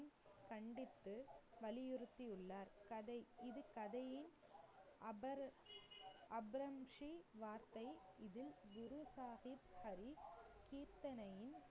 கண்டித்து, வலியுறுத்தியுள்ளார். கதை இது கதையின் அபர்~ அப்ரம் ஜி வார்த்தை இதில் குரு சாஹிப் ஹரி கீர்த்தனையின்